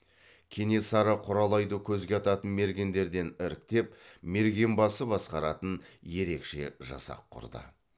кенесары құралайды көзге ататын мергендерден іріктеп мергенбасы басқаратын ерекше жасақ құрды